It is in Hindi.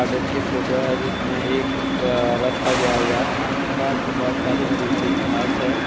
गार्डन की फोटो है जिसमें एक अ-रस्ता गया हुआ है। आस-पास बोहोत सारी हरी-भरी घास है।